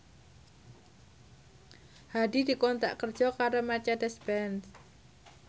Hadi dikontrak kerja karo Mercedez Benz